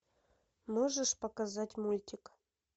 можешь показать мультик